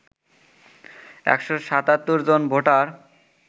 ১৭৭ জন ভোটার